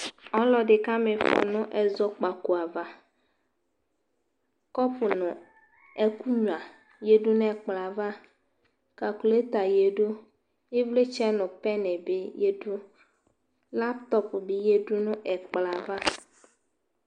ɔlo edi ka ma ifɔ no ɛzɔkpako ava kɔpu no ɛko nyua yadu no ɛkplɔɛ ava kakulata yadu ivlitsɛ no pɛn bi yadu laptɔp bi yadu no ɛkplɔ ava